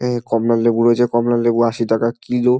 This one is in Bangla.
এ কমলা লেবু হয়েছে কমলা লেবু আশি টাকা কিলো।